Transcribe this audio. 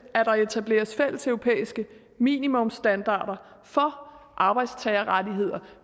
at der etableres fælleseuropæiske minimumsstandarder for arbejdstagerrettigheder